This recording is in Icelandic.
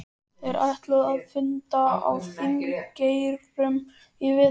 Þeir ætluðu að funda á Þingeyrum í vetur.